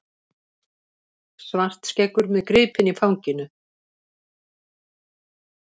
Svartskeggur með gripinn í fanginu.